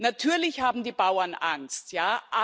Natürlich haben die Bauern Angst, ja.